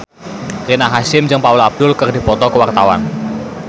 Rina Hasyim jeung Paula Abdul keur dipoto ku wartawan